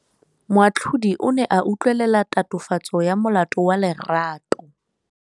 Moatlhodi o ne a utlwelela tatofatsô ya molato wa Lerato.